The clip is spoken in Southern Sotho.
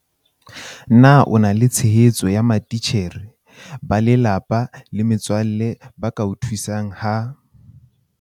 Na o na le tshehetso ya matitjhere, ba lelapa le metswalle ba ka o thusang ha